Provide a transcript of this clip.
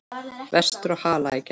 Vestur á Hala í gær.